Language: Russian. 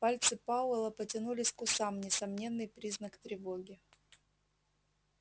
пальцы пауэлла потянулись к усам несомненный признак тревоги